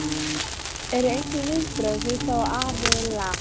Eru einhver viðbrögð fyrir þá aðila?